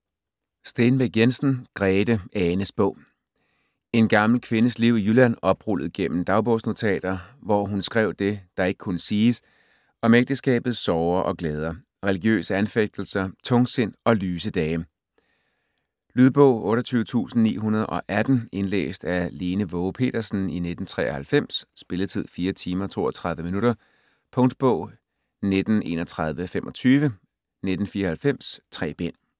Stenbæk Jensen, Grete: Anes bog En gammel kvindes liv i Jylland, oprullet gennem dagbogsnotater, hvor hun skrev det, der ikke kunne siges, om ægteskabets sorger og glæder, religiøse anfægtelser, tungsind og lyse dage. Lydbog 28918 Indlæst af Lene Waage Petersen, 1993. Spilletid: 4 timer, 32 minutter. Punktbog 193125 1994. 3 bind.